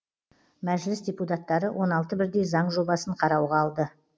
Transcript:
мәжіліс депутаттары он алты бірдей заң жобасын қарауға алды